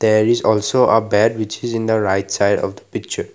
there is also a bed which is in the right side of the picture.